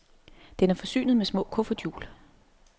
Den er forsynet med små kufferthjul.